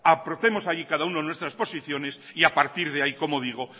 aportemos allí cada uno nuestras posiciones y a partir de ahí como digo